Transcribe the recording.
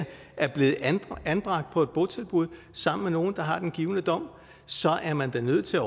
er blevet anbragt på et botilbud sammen med nogle der har den givne dom og så er man da nødt til